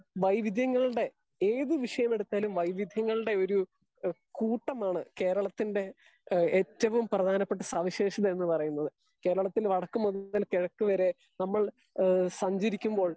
Speaker 2 വൈവിദ്യങ്ങളുടെ ഏത് വിഷയമെടുത്താലും വൈവിദ്യങ്ങളുടെ ഒരു ഹേ കൂട്ടമാണ് കേരളത്തിന്റെ ഹേ ഏറ്റവും പ്രധാനപ്പെട്ട സവിശേഷത എന്ന് പറയുന്നത്. കേരളത്തിൽ വടക്ക് മുതൽ കിഴക്ക് വരെ നമ്മൾ ഹേ സഞ്ചരിക്കുമ്പോൾ